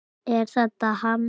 Er þetta hann?